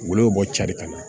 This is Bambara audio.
Wolon bɛ bɔ cari ka ɲɛ